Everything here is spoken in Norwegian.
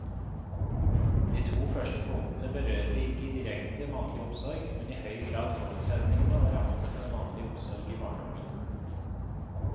De to første punktene berører ikke direkte mannlig omsorg, men i høy grad forutsetningene og rammene for mannlig omsorg i barnehagene.